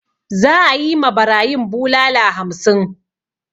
Za'a yi ma barayin bulala hamsin.